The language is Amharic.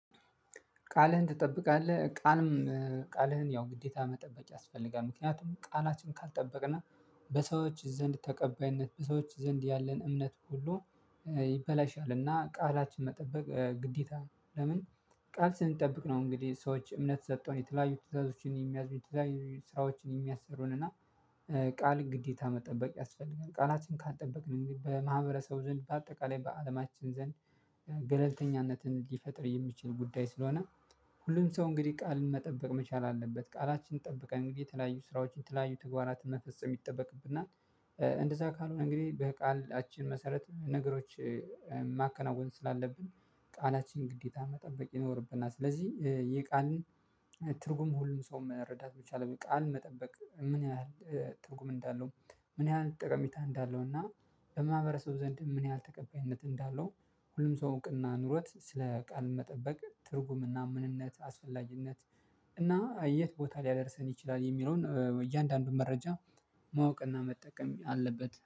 ቃልህን ትጠብቃለህ ቃልም ቃልህን ያው ግዴታ መጠበቅ ያስፈልጋል ምክንያቱም ቃላችን ካልጠበቅንና በሰዎች ዘንድ ተቀባይነት በሰዎች ዘንድ ያለን እምነት ሁሉ ይበላሻልና ቃላችን መጠበቅ ግዴታ ለምን ቃል ስንጠብቅ ነው። እንግዲህ ሰዎች እምነት ሰጠው የተለያዩ ትዕዛዞችን የሚያዝኑ የተለያዩ ስራዎችን የሚያሰሩን ቃል ግዴታ መጠበቅ ያስፈልጋል ቃላችንን ካልጠበቅን እንግዲህ በማህበረሰቡ ዘንድ በአጠቃላይ በአለማችን ዘንድ ገለልተኛነትን ሊፈጥር የሚችል ጉዳይ ነው። ሁሉም ሰው እንግዲህ ቃልን መጠበቅ መቻል አለበት። ቃላችን ጠብቀን እንግዲህ የተለያዩ ስራዎችን የተለያዩ ተግባራትን መፈጸም ይጠበቅብናል እንደዛ ካልሆነ እንግዲህ በቃልአችን መሰረት ነገሮች ማከናወን ስላለብን ቃላችን ግዴታ መጠበቅ ይኖርብናል። ስለዚህ የቃልን ትርጉም ሁሉም ሰው መረዳት መቻል አለበት። ቃል መጠበቅ ምን ያህል ትርጉም እንዳለው ምን ያህል ጠቀሜታ እንዳለውና በማህበረሰቡ ዘንድ ምን ያህል ተቀባይነት እንዳለው ሁሉም ሰው እውቅና ኑሮት ስለ ቃል መጠበቅ ትርጉምና ምንነት አስፈላጊነት እና የት ቦታ ሊያደርሰን ይችላል የሚለውን እያንዳንዱን መረጃ ማወቅና መጠቀም አለበት